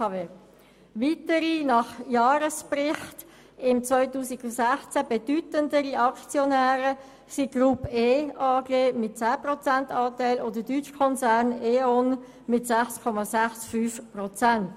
Weitere bedeutende Aktionäre sind gemäss dem Jahresbericht 2016 die Groupe E AG mit einem 10-Prozent-Anteil und die deutsche E.ON SE mit einem Anteil von 6,65 Prozent.